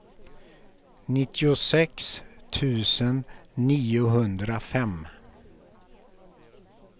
nittiosex tusen niohundrafem